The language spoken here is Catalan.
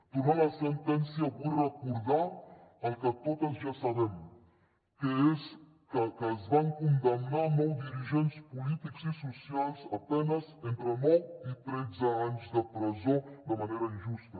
tornant a la sentència vull recordar el que totes ja sabem que és que es van condemnar nou dirigents polítics i socials a penes d’entre nou i tretze anys de presó de manera injusta